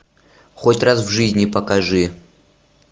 хоть раз в жизни покажи